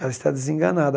Ela está desenganada.